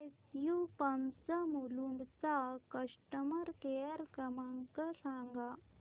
SU pumps Mulund चा customer care क्रमांक सांगा